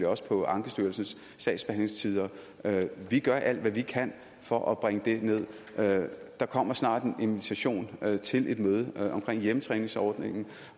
også på ankestyrelsens sagsbehandlingstider vi gør alt hvad vi kan for at bringe dem nederst der kommer snart en invitation til et møde om hjemmetræningsordningen